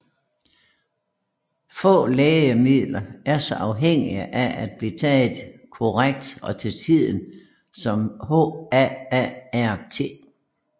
Få lægemidler er så afhængige af at blive taget korrekt og til tiden som HAART